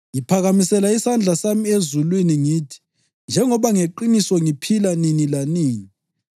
Ngiphakamisela isandla sami ezulwini ngithi: Njengoba ngeqiniso ngiphila nini lanini,